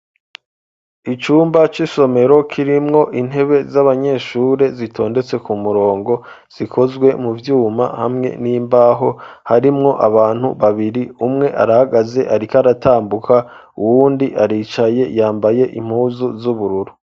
Icumba c'isomero kirimwo intebe z'abanyeshure zitondetse ku murongo, zikozwe mu vyuma hamwe n'imbaho, harimwo abantu babiri umwe arahagaze ariko aratambuka uwundi aricaye yambaye impuzu z'ubururu.